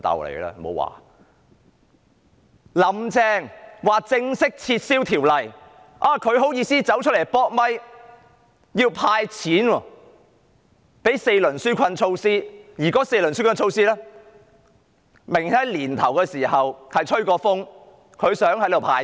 "林鄭"正式宣布撤回《條例草案》，他竟然好意思出來"扑咪"說要"派錢"，推出4輪紓困措施，而該4輪紓困措施明明在年初時已經"吹風"，表示想"派錢"。